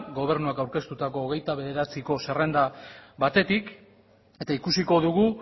gobernuak aurkeztutako hogeita bederatziko zerrenda batetik eta ikusiko dugu